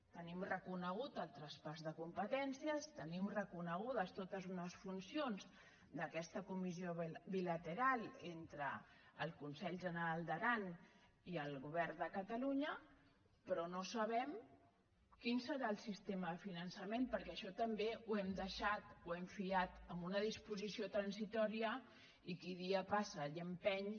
tenim reconegut el traspàs de competències tenim reconegudes totes unes funcions d’aquesta comissió bilateral entre el consell general d’aran i el govern de catalunya però no sabem quin serà el sistema de finançament perquè això també ho hem deixat ho hem fiat a una disposició transitòria i qui dia passa any empeny